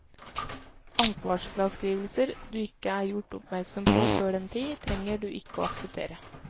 Ansvarsfraskrivelser du ikke er gjort oppmerksom på før den tid, trenger du ikke å akseptere.